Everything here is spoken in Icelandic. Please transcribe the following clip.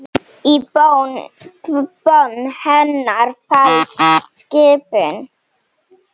Í bón hennar felst skipun.